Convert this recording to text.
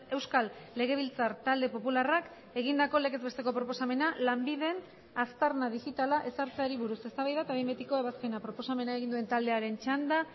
euskal legebiltzar talde popularrak egindako legez besteko proposamena lanbiden aztarna digitala ezartzeari buruz eztabaida eta behin betiko ebazpena proposamena egin duen taldearen txanda